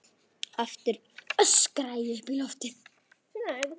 Aftur öskra ég upp í loftið.